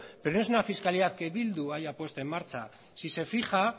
pero no es una fiscalidad que bildu haya puesto en marcha si se fija